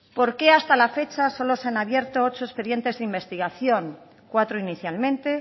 por qué hasta la fecha solo se han abierto ocho expedientes de investigación cuatro inicialmente